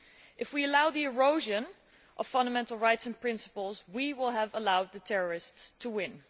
If we allow the erosion of fundamental rights and principles, we will have allowed the terrorists to win.